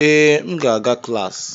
Ee, m ga-aga klas.